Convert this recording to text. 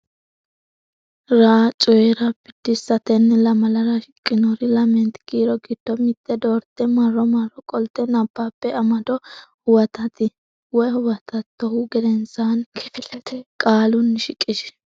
’ra: Coyi’ra Biddissa Tenne lamalara shiqqinori lamenta kiiro giddo mitte doorte marro marro qolte nabbabbe amado huwatitta(o)hu gedensaanni kifilete qaalunni shiqishi.